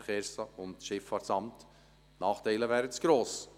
– Die Nachteile wären zu gross.